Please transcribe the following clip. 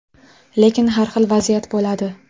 Lekin har xil vaziyat bo‘ladi.